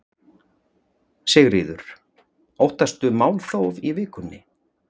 Sigríður: Óttastu málþóf í vikunni?